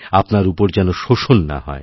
আপনার উপর যেন শোষণ না হয়